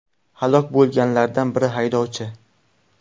Halok bo‘lganlardan biri haydovchi.